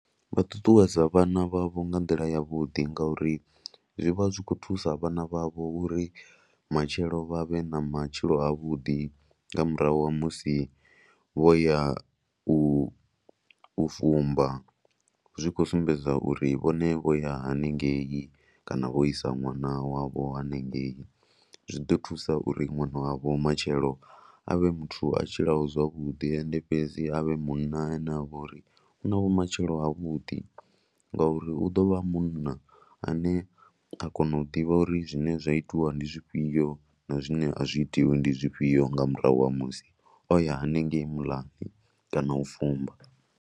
Vha ṱuṱuwedza vhana vhavho nga nḓila yavhuḓi ngauri zwi vha zwi khou thusa vhana vhavho uri matshelo vha vhe na matshilo avhuḓi nga murahu ha musi vho ya u fumba. Zwi khou sumbedza uri musi vho ya ha ni ngei kana vho isa ṅwana wavho ha ni ngei, zwi ḓo thusa uri ṅwana wavho matshelo a vhe muthu a tshilaho zwavhuḓi. Ende fhedzi a vhe munna a ne a vha uri u na vhumatshelo havhuḓi ngauri u ḓo vha a munna a ne a kona u ḓivha uri zwine zwa itiwa ndi zwifhio na zwinea zwi itiwi ndi zwifhio nga murahu ha musi o ya hanengei muḽani kana u fumba.